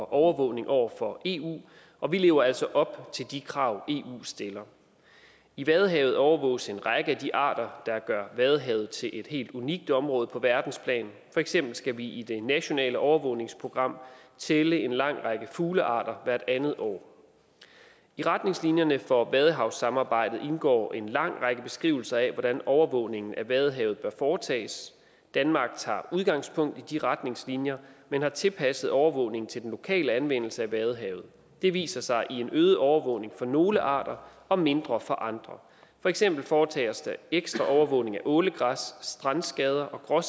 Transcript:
overvågning over for eu og vi lever altså op til de krav eu stiller i vadehavet overvåges en række af de arter der gør vadehavet til et helt unikt område på verdensplan for eksempel skal vi i det nationale overvågningsprogram tælle en lang række fuglearter hvert andet år i retningslinjerne for vadehavssamarbejdet indgår en lang række beskrivelser af hvordan overvågningen at vadehavet bør foretages danmark tager udgangspunkt i de retningslinjer men har tilpasset overvågningen til den lokale anvendelse af vadehavet det viser sig i en øget overvågning for nogle arter og mindre for andre for eksempel foretages der ekstra overvågning af ålegræs strandskader og